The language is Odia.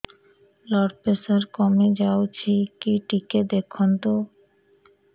ବ୍ଲଡ଼ ପ୍ରେସର କମି ଯାଉଛି କି ଟିକେ ଦେଖନ୍ତୁ